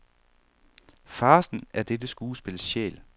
Farcen er dette skuespils sjæl.